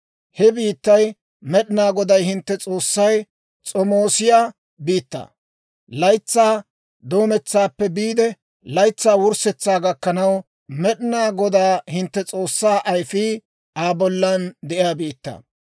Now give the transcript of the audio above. He biittay Med'inaa Goday hintte S'oossay s'omoosiyaa biittaa; laytsaa doometsaappe biide laytsaa wurssetsaa gakkanaw, Med'inaa Godaa hintte S'oossaa ayfii Aa bollan de'iyaa biittaa.